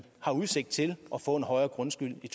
har udsigt til at få en højere grundskyld i